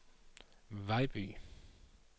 Vejby